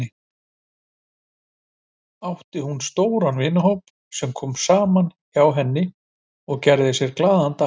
Átti hún stóran vinahóp sem kom saman hjá henni og gerði sér glaðan dag.